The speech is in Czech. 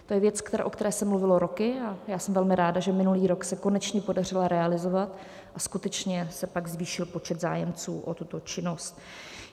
To je věc, o které se mluvilo roky, a já jsem velmi ráda, že minulý rok se konečně podařila realizovat, a skutečně se pak zvýšil počet zájemců o tuto činnost.